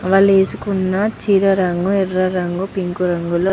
వాళ్లు వేసుకున్న చీర రంగు ఎర్ర రంగు పింకు రంగులో --